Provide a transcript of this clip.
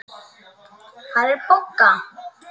Hvar er Bogga?